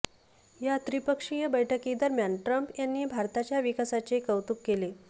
या त्रिपक्षीय बैठकीदरम्यान ट्रम्प यांनी भारताच्या विकासाचे कौतुक केले